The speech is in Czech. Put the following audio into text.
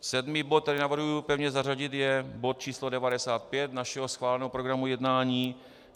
Sedmý bod, který navrhuji pevně zařadit, je bod číslo 95 našeho schváleného programu jednání.